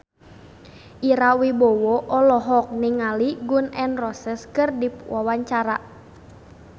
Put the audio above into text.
Ira Wibowo olohok ningali Gun N Roses keur diwawancara